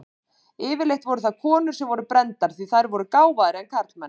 Yfirleitt voru það konur sem voru brenndar, því þær eru gáfaðri en karlmenn.